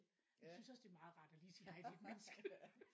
Men jeg synes også det er meget rart at lige sige hej til et menneske